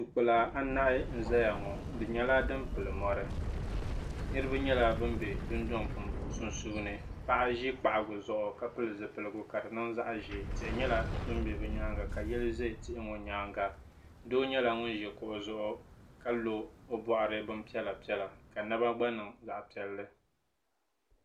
Duu kpila anahi n zaya ŋɔ di nyɛla din pili mɔri niriba nyɛla bin bɛ dundɔŋ sunsuuni paɣa ʒi kpahiga zuɣu ka pili zipiligu ka di niŋ zaɣa ʒee tihi nyɛla din bɛ bi nyaanga ka yili za tihi ŋɔ nyaanga doo nyɛla ŋun ʒi kuɣu zuɣu ka lo o bɔɣiri bin piɛla piɛla ka naba gba niŋ zaɣa piɛlli.